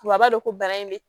A b'a dɔn ko bana in de